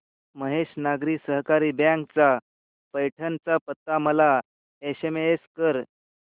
महेश नागरी सहकारी बँक चा पैठण चा पत्ता मला एसएमएस कर